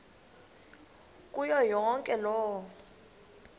kuyo yonke loo